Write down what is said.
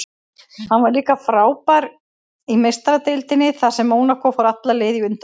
Hann var líka frábær í Meistaradeildinni þar sem Mónakó fór alla leið í undanúrslit.